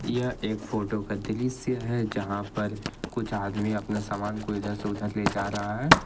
यह एक फोटो का दृश्य है जहां पर कुछ आदमी अपना सामान को इधर से उधर ले जा रहा है।